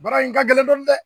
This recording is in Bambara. Baara in ka gɛlɛn dɔɔnin dɛ